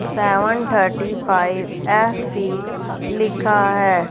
Seven thirty five F E लिखा है।